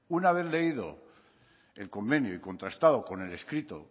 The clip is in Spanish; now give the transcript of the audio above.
una vez leído el convenio y contrastado con el escrito